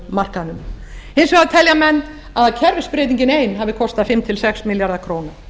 raforkumarkaðnum hins vegar telja menn að kerfisbreytingin ein hafi kostað fimm til sex milljarða króna